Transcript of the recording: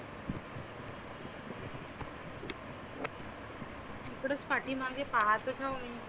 इकडेच पाठि मागे पाहते ना मी.